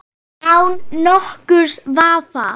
Án nokkurs vafa!